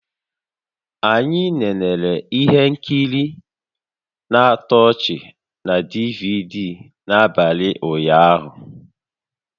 Anyị nenere ihe nkiri na-atọ ọchị na DVD n'abalị ụnyaahụ